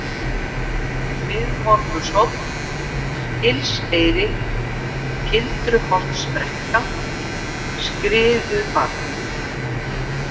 Miðmorgunshóll, Hylseyri, Gildruholtsbrekka, Skriðubarð